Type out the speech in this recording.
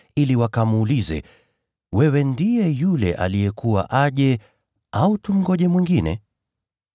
ili wakamuulize, “Wewe ndiye yule aliyekuwa aje, au tumngojee mwingine?”